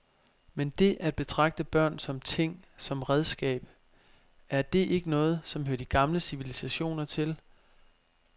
Men det at betragte børn som ting, som redskab, er det ikke noget, som hører de gamle civilisationer til.